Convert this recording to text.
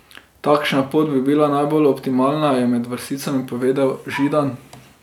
Takšna pot bi bila najbolj optimalna, je med vrsticami povedal Židan.